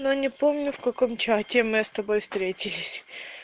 но не помню в каком чате мы с тобой встретились хи хи